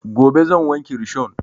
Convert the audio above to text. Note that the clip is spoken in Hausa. Gobe zan wanke rishon